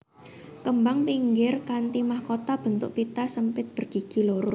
Kembang pinggir kanthi mahkota bentuk pita sempit bergigi loro